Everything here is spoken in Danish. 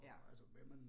Ja